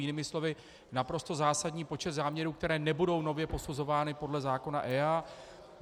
Jinými slovy naprosto zásadní počet záměrů, které nebudou nově posuzovány podle zákona EIA.